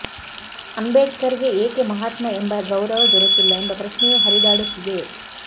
ಅಂಬೇಡ್ಕರ್ಗೆ ಏಕೆ ಮಹಾತ್ಮ ಎಂಬ ಗೌರವ ದೊರೆತಿಲ್ಲ ಎಂಬ ಪ್ರಶ್ನೆಯೂ ಹರಿದಾಡುತ್ತಿದೆ